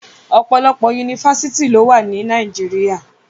Ọ̀pọ̀lọpọ̀ Yunifásítì lówà ní Nàìjíríà.